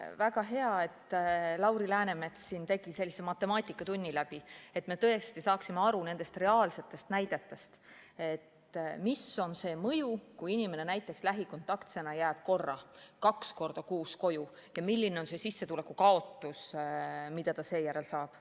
Väga hea, et Lauri Läänemets tegi siin sellise matemaatikatunni läbi, et me tõesti saaksime reaalsete näidete abil aru, milline on mõju, kui inimene näiteks lähikontaktsena jääb ühe korra või kaks korda kuus koju: milline on sissetuleku kaotus, mida ta seejärel kannab.